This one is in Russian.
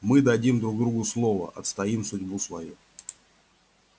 мы дадим друг другу слово отстоим судьбу свою